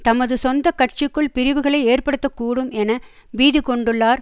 தமது சொந்த கட்சிக்குள் பிரிவுகளை ஏற்படுத்த கூடும் என பீதிகொண்டுள்ளார்